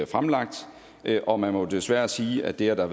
fremlagt og man må jo desværre sige at det at der